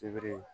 Sibiri